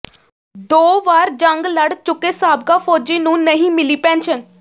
ਦੋ ਵਾਰ ਜੰਗ ਲੜ ਚੁੱਕੇ ਸਾਬਕਾ ਫੌਜੀ ਨੂੰ ਨਹੀਂ ਮਿਲੀ ਪੈਨਸ਼ਨ